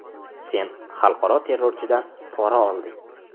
Sen xalqaro terrorchidan pora olding.